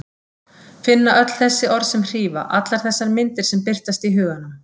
Finna öll þessi orð sem hrífa, allar þessar myndir sem birtast í huganum.